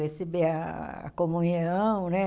Receber a comunhão, né?